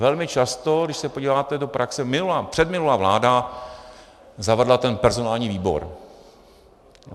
Velmi často, když se podíváte do praxe, předminulá vláda zavedla ten personální výbor.